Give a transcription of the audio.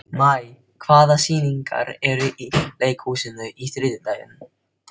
Maj, hvaða sýningar eru í leikhúsinu á þriðjudaginn?